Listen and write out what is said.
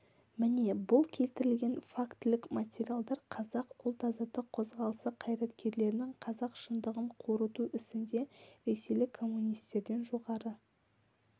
міне бұл келтірілген фактілік материалдар қазақ ұлт-азаттық қозғалысы қайраткерлерінің қазақ шындығын қорыту ісінде ресейлік коммунистерден жоғары